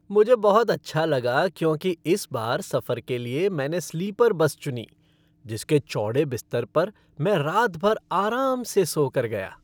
मुझे बहुत अच्छा लगा क्योंकि इस बार सफर के लिए मैंने स्लीपर बस चुनी जिसके चौड़े बिस्तर पर मैं रात भर आराम से सो कर गया।